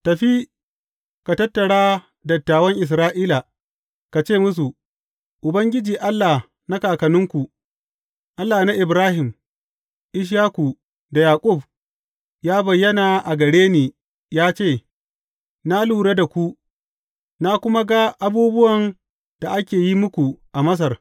Tafi ka tattara dattawan Isra’ila, ka ce musu, Ubangiji, Allah na kakanninku, Allah na Ibrahim, Ishaku da Yaƙub, ya bayyana a gare ni ya ce, Na lura da ku, na kuma ga abubuwan da ake yi muku a Masar.